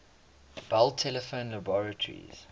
bell telephone laboratories